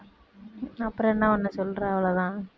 அப்புறம் என்ன பண்ண சொல்றேன் அவ்வளவுதான்